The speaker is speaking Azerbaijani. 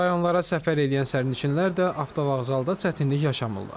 Rayonlara səfər eləyən sərnişinlər də avtovağzalda çətinlik yaşamırlar.